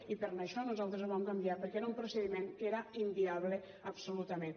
i per això nos·altres ho vam canviar perquè era un procediment que era inviable absolutament